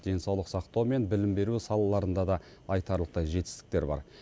денсаулық сақтау мен білім беру салаларында да айтарлықтай жетістіктер бар